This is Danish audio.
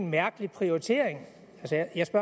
prioritering